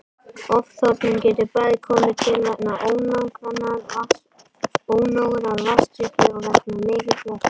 Ofþornun getur bæði komið til vegna ónógrar vatnsdrykkju og vegna mikils vökvataps.